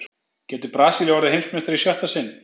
Getur Brasilía orðið Heimsmeistari í sjötta sinn?